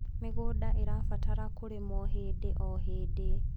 mĩgũnda irabatara kurimwo hĩndĩ o hĩndĩ